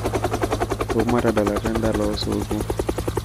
wou matadalata edola osuto